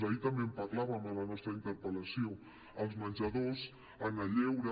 ahir també en parlàvem a la nostra interpel·lació als menjadors al lleure